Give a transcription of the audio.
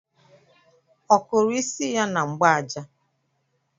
Ọ kụrụ isi ya na mgbaja?